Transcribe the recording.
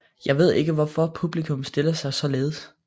Jeg ved ikke hvorfor publikum stiller sig saaledes